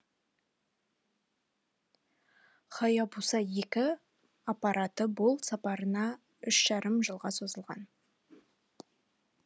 хаябуса екі аппараты бұл сапарына үш жарым жылға созылған